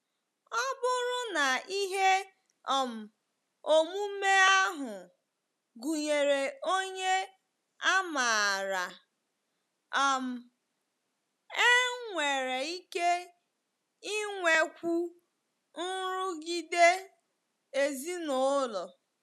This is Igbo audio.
Ọ bụrụ na ihe um omume ahụ gụnyere onye a maara, um e nwere ike inwekwu nrụgide ezinụlọ.